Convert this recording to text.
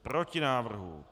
Proti návrhu.